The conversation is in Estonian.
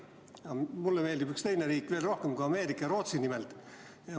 Aga mulle meeldib üks teine riik veel rohkem kui Ameerika, nimelt Rootsi.